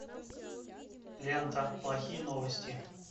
лента плохие новости